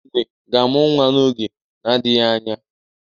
Enwe ga-amụ nwa n'oge na-adịghị anya.